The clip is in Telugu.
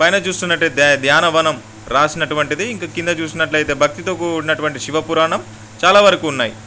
పైన చూస్తున్నటైతేధ్యాన వనం రాసినటువంటిది. ఇంకా కింద చూసినట్టయితేభక్తి తో కూడినటువంటి శివ పురాణం. చాలా వరకు ఉన్నాయ్.